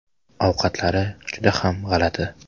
Ovqatlari juda ham g‘alati.